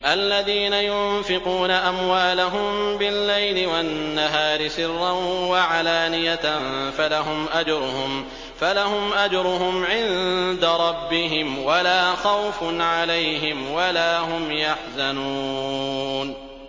الَّذِينَ يُنفِقُونَ أَمْوَالَهُم بِاللَّيْلِ وَالنَّهَارِ سِرًّا وَعَلَانِيَةً فَلَهُمْ أَجْرُهُمْ عِندَ رَبِّهِمْ وَلَا خَوْفٌ عَلَيْهِمْ وَلَا هُمْ يَحْزَنُونَ